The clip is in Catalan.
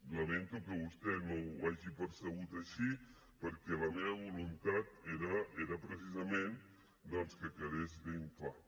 lamento que vostè no ho hagi percebut així perquè la meva voluntat era precisament doncs que quedés ben clar